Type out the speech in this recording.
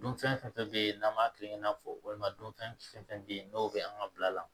Dunfɛn fɛn fɛn bɛ yen n'an b'a kelen n'a fɔ walima dunfɛn fɛn fɛn bɛ yen dɔw bɛ an ka bila la